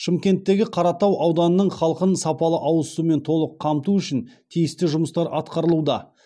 шымкенттегі қаратау ауданының халқын сапалы ауыз сумен толық қамту үшін тиісті жұмыстар атқарылуда